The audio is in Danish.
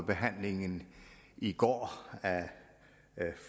behandlingen i går af